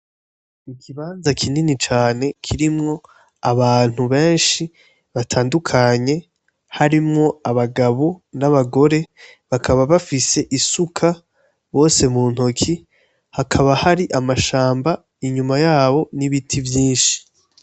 Igibanza kinini cane kirimwo abantu benshi batandukanye harimwo abagabo n'abagore bakaba bafise isuka bose mu ntoki hakaba hari amashamba inyuma yabo n'ibiti vyinshi.